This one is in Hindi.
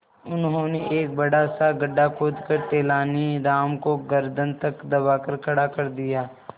उन्होंने एक बड़ा सा गड्ढा खोदकर तेलानी राम को गर्दन तक दबाकर खड़ा कर दिया